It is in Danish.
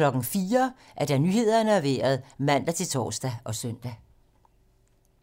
04:00: Nyhederne og Vejret (man-tor og søn)